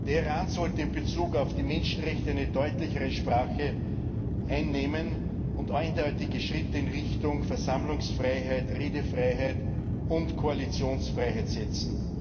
Der Iran sollte in Bezug auf die Menschenrechte eine deutlichere Sprache sprechen und eindeutige Schritte in Richtung Versammlungsfreiheitt, Redefreiheit und Koalitionsfreiheit setzen.